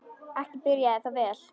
Ekki byrjaði það vel.